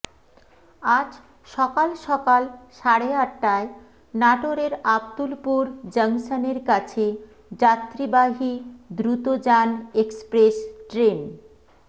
আজ সকাল সকাল সাড়ে আটটায় নাটোরের আবদুলপুর জংশনের কাছে যাত্রীবাহী দ্রুতযান এক্সপ্রেস ট্রেন